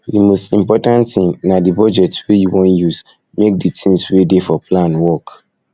di most important thing na di budget wey you wan use make di things wey dey for plan work